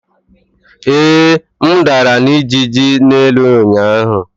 Ee, m dara na ijiji n'elu ụnyaahụ.